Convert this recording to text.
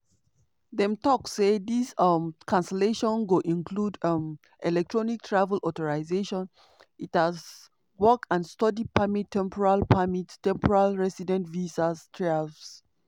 dem tok say dis um cancellation go include um electronic travel authorization (etas) work and study permit temporary permit temporary resident visas (trvs).